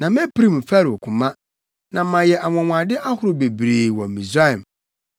Na mepirim Farao koma, na mayɛ anwonwade ahorow bebree wɔ Misraim